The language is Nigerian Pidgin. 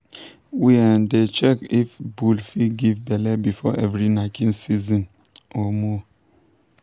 we um dey check if bull fit give belle before every knacking season. um